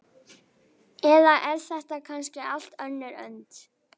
Eða er þetta kannski allt önnur önd?